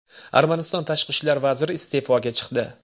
Armaniston tashqi ishlar vaziri iste’foga chiqdi.